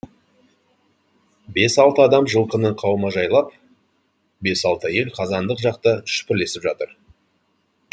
бес алты адам жылқыны қаумажайлап бес алты әйел қазандық жақта шүпірлесіп жатыр